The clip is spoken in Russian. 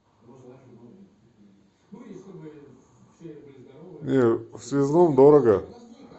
не в связном дорого